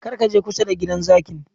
Kar ka je kusa da gidan zakin!